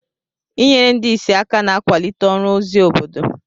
Inyere ndị ìsì aka na-akwalite ọrụ ozi obodo.